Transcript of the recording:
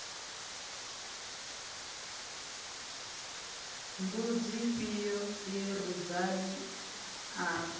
mbudzi ifhio ye rudzani a